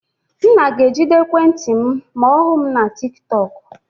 Nna ga-ejide ekwentị m ma ọ hụ m na tiktok.